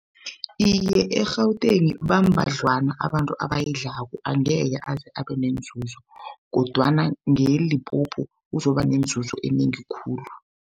Iye, e-Gauteng bambadlwana abantu abayidlalako angeke aze abenenzuzo kodwana ngeLimpopo uzoba nenzuzo enengi khulu.